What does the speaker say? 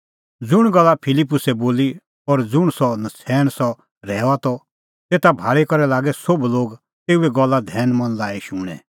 ज़ुंण गल्ला फिलिप्पुसै बोली और ज़ुंण सह नछ़ैण सह रहैऊआ त तेता भाल़ी करै लागै सोभ लोग तेऊए गल्ला धैनमन लाई शूणैं